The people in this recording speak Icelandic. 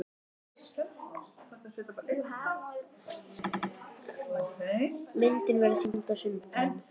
Myndin verður sýnd á sunnudaginn.